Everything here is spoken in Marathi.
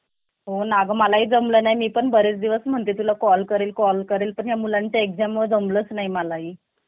भरपूर गरज आहे. मी सध्याला घ~ अं घरीच बसलेलोय. मला कामाची आवश्यकता आहे. Sir तुमच्याकडे documents send कारण टाकू का मी?